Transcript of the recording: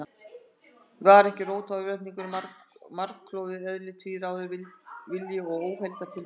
Var ekki rót örvæntingarinnar margklofið eðli, tvíráður vilji og óheilar tilfinningar?